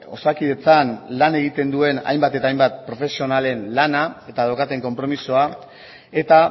osakidetzan lan egiten duen hainbat eta hainbat profesionalen lana eta daukaten konpromisoa eta